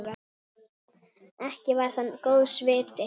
Ekki var það góðs viti.